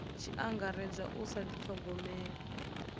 tshi angaredzwa u sa dithogomela